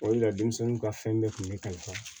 O de la denmisɛnninw ka fɛn bɛɛ kun bɛ ne kalifa